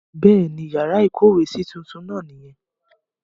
Bẹ́ẹ̀ ni, yàrá ìkówèésí tuntun náà nìyẹn.